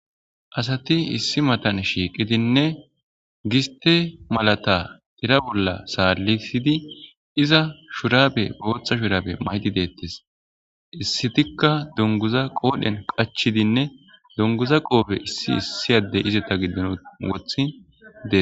asati issi matan shiiqidinne giste malata tira bolla saalisidi iza shuraabe booththa shuraabe mayti deettes issitikka donguza qoodhen qachidinne donguza qoobe issi issi yaddey izeta giddon wothi dee